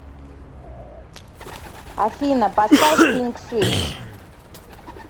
афина поставь пинк свитс